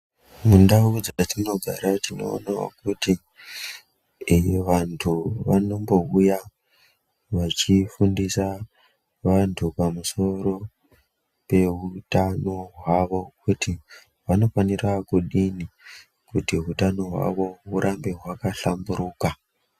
Mundau dzatinogara tinoona kuti ee vantu vanombouya veifundisa vantu pamusoro peutano hwavo kuti vanofanira kudini kuti utano hwavo hurambe hwaka hlamburuka.